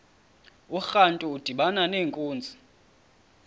urantu udibana nenkunzi